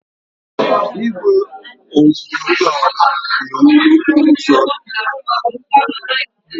Igwe oriọna na-enwu n'okporo ụzọ dị n'ihu.